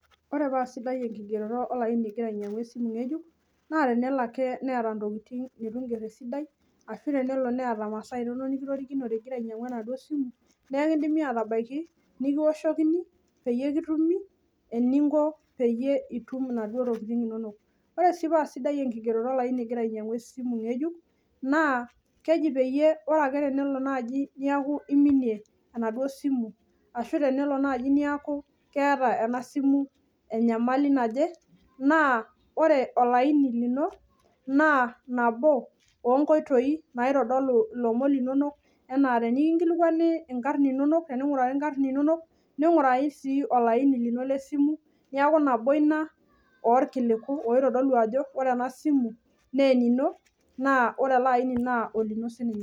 Ore paa sidai enkigeroto ingira ainyiangu olaini ngejuk naa tenelo ake niata ntokitin nitu iger esidai ashu tenelo neeta maasa inonok nikitorikinote ingira ainyiangu enaduo simu naa ekidimi atabaiki nikiwoshokini peyie kitumi . Ore sii paa sidai enkigeroto olaini ingira ainyiangu ngejuk naa keji peyie ore pelo niminie enaduo simu arashu naji neaku keeta enasimu enyamali naje naa ore olaini lino naa nabo onkoitoi naitodolu ilomon linonok .